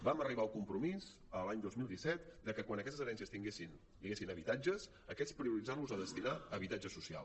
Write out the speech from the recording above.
vam arribar al compromís l’any dos mil disset de que quan en aquestes herències hi haguessin habitatges aquests prioritzar los a destinar a habitatge social